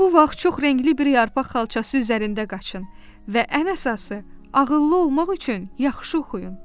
Bu vaxt çox rəngli bir yarpaq xalçası üzərində qaçın və ən əsası, ağıllı olmaq üçün yaxşı oxuyun.